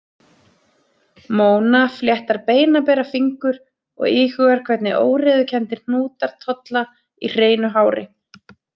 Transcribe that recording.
Móna fléttar beinabera fingur og íhugar hvernig óreiðukenndir hnútar tolla í hreinu hári.